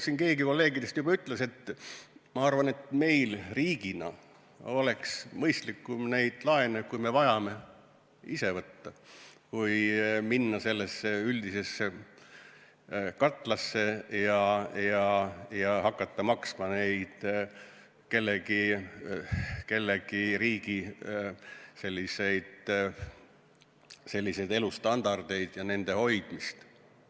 Siin keegi kolleegidest juba ütles, et tema arvates meil riigina oleks mõistlikum neid laene, kui me vajame, ise võtta kui minna sellesse üldisesse katlasse ja hakata kinni maksma mõne riigi seniste elustandardite hoidmist.